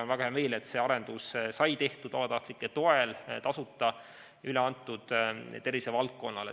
On väga hea meel, et see arendus sai tehtud vabatahtlike toel ja tasuta üle antud tervishoiuvaldkonnale.